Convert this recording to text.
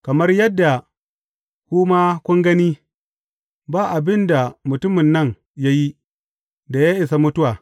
Kamar yadda ku ma kun gani, ba abin da mutumin nan ya yi, da ya isa mutuwa.